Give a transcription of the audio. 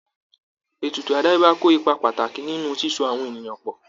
Ètùtù àdáyébá kó ipa pàtàkì nínú síso àwọn ènìyàn pọ̀